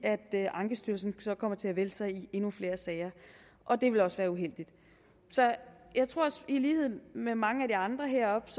ankestyrelsen så kommer til at vælte sig i endnu flere sager og det ville også være uheldigt så i lighed med mange af de andre heroppe